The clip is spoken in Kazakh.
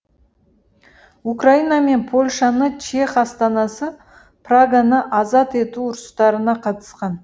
украина мен польшаны чех астанасы праганы азат ету ұрыстарына қатысқан